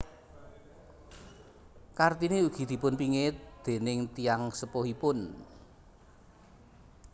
Kartini ugi dipunpingit déning tiyang sepuhipun